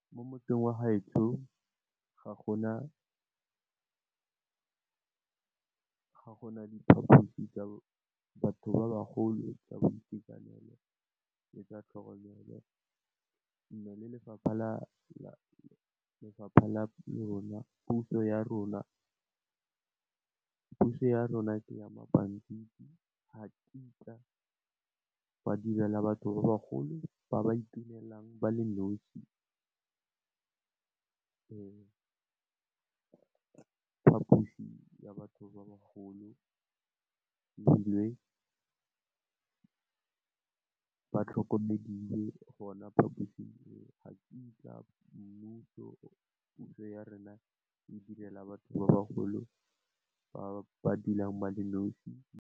Mo motseng wa gaetsho ga gona diphaphosi tsa batho ba bagolo tsa boitekanelo. Le ka tlhoka go nna le lefapha la rona, puso ya rona ke ya mabantiti gakitla ba direla batho ba bagolo ba ba itunelang ba le nnosi phaphusi ya batho ba bagolo, ebile ba tlhokomediwe gona phaposing eo, gakitla mmuso, puso ya rona e direla batho ba bagolo ba ba dulang ba le nnosi.